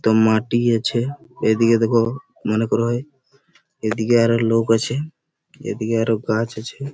তো মাটি আছে এদিকে দেখো মনে করা হয় এদিকে আরো লোক আছে এদিকে আরো গাছ আছে ।